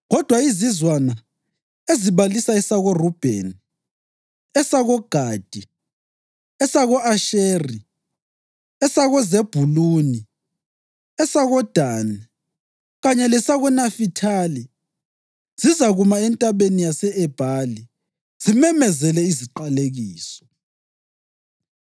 Kodwa izizwana ezibalisa esakoRubheni, esakoGadi, esako-Asheri, esakoZebhuluni, esakoDani kanye lesakoNafithali, zizakuma eNtabeni yase-Ebhali zimemezele iziqalekiso.